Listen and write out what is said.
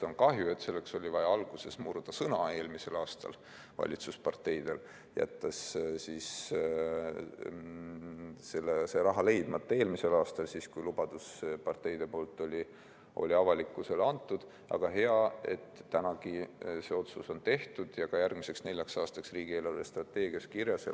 On kahju, et selleks oli vaja valitsusparteidel alguses sõna murda, kui nad jätsid selle raha eelmisel aastal leidmata, siis kui lubadus oli parteidel avalikkusele antud, aga hea, et nüüdki see otsus on tehtud ja ka järgmiseks neljaks aastaks riigi eelarvestrateegias kirjas.